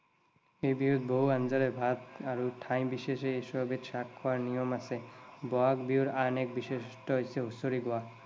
এই বিহুত বহু আঞ্জাৰে ভাত ঠাই বিশেষে এশ এবিধ শাক খোৱাৰ নিয়ম আছে। বহাগ বিহুৰ আন এক বিশেষত্ব হৈছে হুচৰি গোৱা।